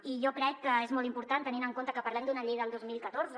i jo crec que és molt important tenint en compte que parlem d’una llei del dos mil catorze